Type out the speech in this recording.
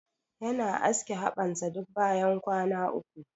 Yana aske haɓan sa duk bayan kwana uku.